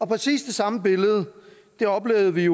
præcis det samme billede oplevede vi